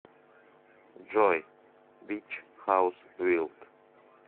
джой бич хаус вилд